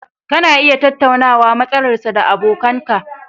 Kana iya tattaunawa matsalar sa da abokan ka